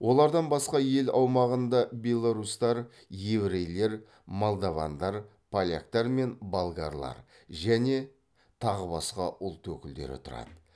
олардан басқа ел аумағында беларусьтар еврейлер молдавандар поляктар мен болгарлар және тағы басқа ұлт өкілдері тұрады